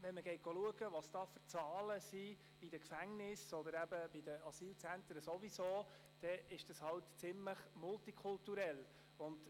Schaut man allerdings die Zahlen der Gefängnisse, der Asylzentren sowieso, an, erweisen wir uns als ziemlich multikulturell.